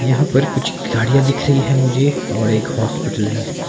यहां पर कुछ गाड़ियां दिख रही है मुझे और एक हॉस्पिटल है।